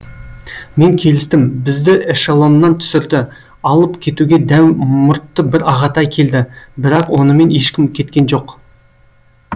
мен келістім бізді эшелоннан түсірді алып кетуге дәу мұртты бір ағатай келді бірақ онымен ешкім кеткен жоқ